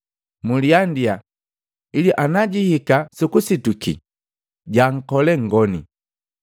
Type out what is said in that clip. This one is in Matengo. Mliandia, ili anajihika sukusituki, jaankole nngoni.